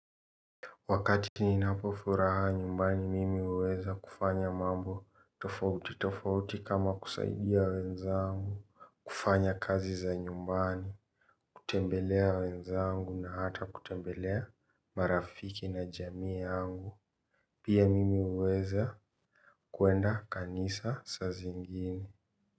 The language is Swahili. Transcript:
Wakati ninapofuraha nyumbani mimi huweza kufanya mambo tofauti tofauti kama kusaidia wenzangu kufanya kazi za nyumbani, kutembelea wenzangu na hata kutembelea marafiki na jamii yangu. Pia mimi huweza kuenda kanisa saa zingine.